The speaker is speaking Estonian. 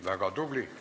Väga tubli!